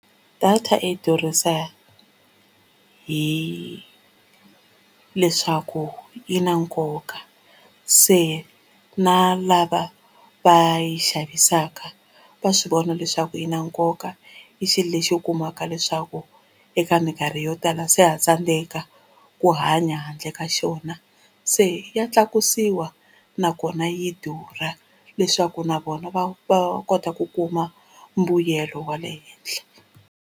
Data yi durhisa hileswaku yi na nkoka se na lava va yi xavisaka va swivona leswaku yi na nkoka i xilo lexi u kumaka leswaku eka minkarhi yo tala se ha tsandeka ku hanya handle ka xona se ya tlakusiwa nakona yi durha leswaku na vona va va kota ku kuma mbuyelo wa le henhla.